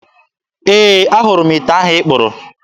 Ee, ahụrụ m ite ahụ ị kpụrụ.